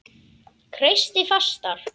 Kreisti fastar.